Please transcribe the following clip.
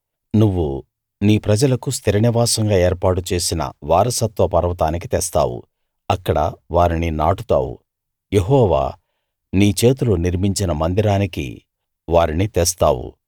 నువ్వు నీ ప్రజలకు స్థిర నివాసంగా ఏర్పాటు చేసిన వారసత్వ పర్వతానికి తెస్తావు అక్కడ వారిని నాటుతావు యెహోవా నీ చేతులు నిర్మించిన మందిరానికి వారిని తెస్తావు